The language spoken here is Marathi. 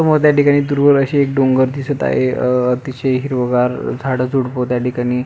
समोर त्या ठिकाणी दूरवर आशे एक डोंगर दिसत आहे आ त्याचे हिरवगार झाड झुडप त्या ठिकाणी --